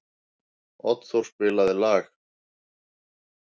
Oddþór, spilaðu lag.